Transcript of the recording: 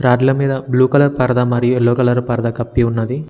రాడ్ల మీద blue colour మరియు yellow colour పరదా కప్పి ఉన్నది.